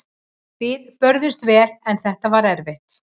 Við börðumst vel en þetta var erfitt.